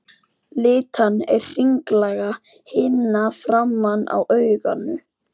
Litan er hringlaga himna framan á auganu.